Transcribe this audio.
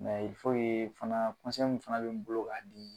fana min bɛ bolo k'a di